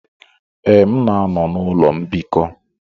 Ee, m na-anọ n'ụlọ mbikọ.